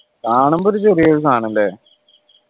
കാണുമ്പോരു ചെറിയൊരു സാനം അല്ലെ